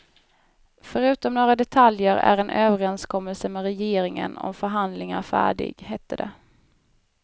Förutom några detaljer är en överenskommelse med regeringen om förhandlingar färdig, hette det.